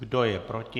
Kdo je proti?